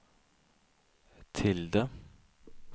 tilde